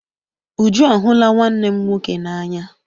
Uju a hụla nwanne m nwoke n'anya.